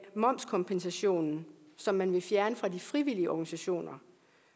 momskompensationen som man vil fjerne fra de frivillige organisationer